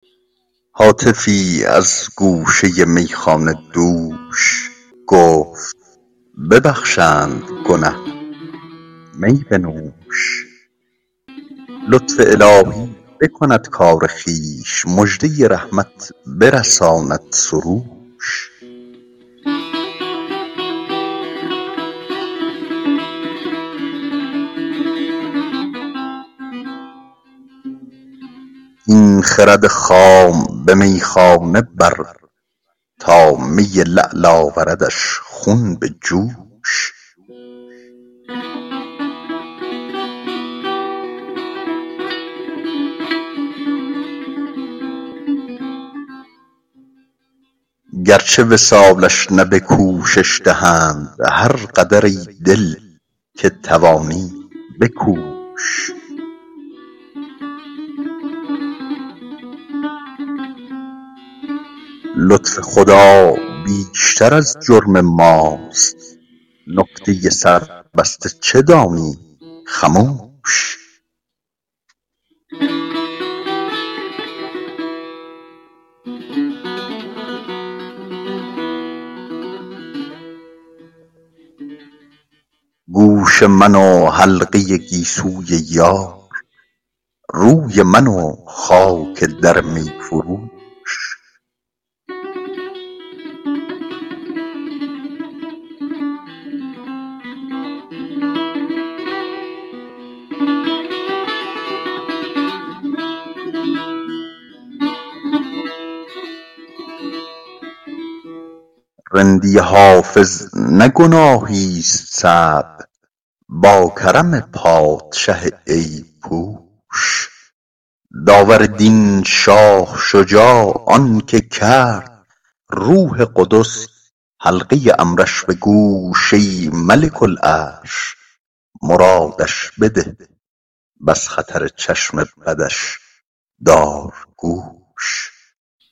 هاتفی از گوشه میخانه دوش گفت ببخشند گنه می بنوش لطف الهی بکند کار خویش مژده رحمت برساند سروش این خرد خام به میخانه بر تا می لعل آوردش خون به جوش گرچه وصالش نه به کوشش دهند هر قدر ای دل که توانی بکوش لطف خدا بیشتر از جرم ماست نکته سربسته چه دانی خموش گوش من و حلقه گیسوی یار روی من و خاک در می فروش رندی حافظ نه گناهیست صعب با کرم پادشه عیب پوش داور دین شاه شجاع آن که کرد روح قدس حلقه امرش به گوش ای ملک العرش مرادش بده و از خطر چشم بدش دار گوش